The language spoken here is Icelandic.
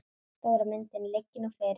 Stóra myndin liggi nú fyrir.